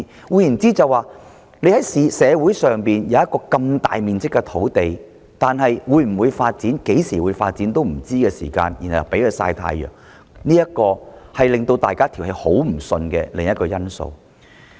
換言之，社會上雖然有一幅如此大面積的土地，但在它會否或何時發展也無從得知的情況下，便任由它"曬太陽"，這是另一個讓市民不服氣的原因。